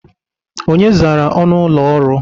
Onye zara ọnụ ụlọ ọrụ?